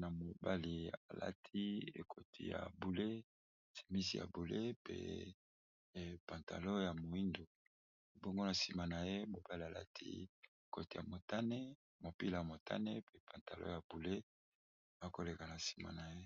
na mobali alati ekoti ya boule semisi ya boule pe pantalo ya moindo ebongona nsima na ye mobali alati ekoti ya montane mopila ya montane pe pantalo ya boule bakoleka na nsima na ye